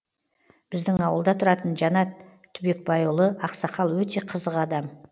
біздің ауылда тұратын жанат түбекбайұлы ақсақал өте қызық адам